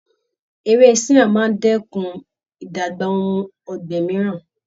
Ewé siam máa ń dẹ́kun ìdàgbà ohun ọ̀gbìn mìíràn.